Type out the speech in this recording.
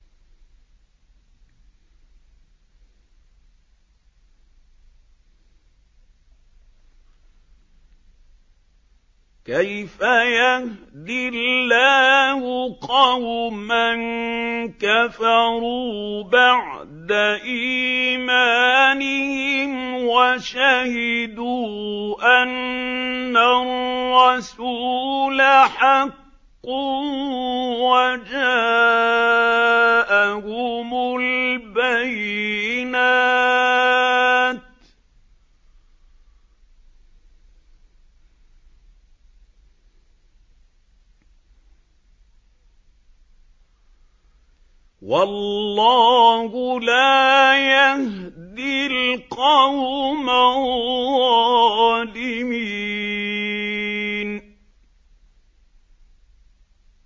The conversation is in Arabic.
كَيْفَ يَهْدِي اللَّهُ قَوْمًا كَفَرُوا بَعْدَ إِيمَانِهِمْ وَشَهِدُوا أَنَّ الرَّسُولَ حَقٌّ وَجَاءَهُمُ الْبَيِّنَاتُ ۚ وَاللَّهُ لَا يَهْدِي الْقَوْمَ الظَّالِمِينَ